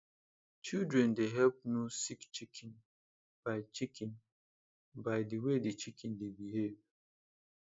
children dey help know sick chicken by chicken by the way the chicken dey behave